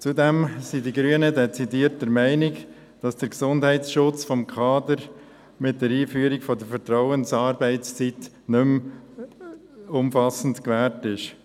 Zudem sind die Grünen dezidiert der Meinung, dass der Gesundheitsschutz des Kaders mit der Einführung der Vertrauensarbeitszeit nicht mehr umfassend gewährleistet ist.